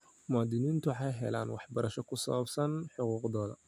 Muwaadiniintu waxay helaan waxbarasho ku saabsan xuquuqdooda.